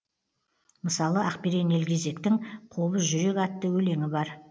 мысалы ақберен елгезектің қобыз жүрек атты өлеңі бар